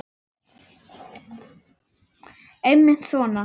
Einmitt svona.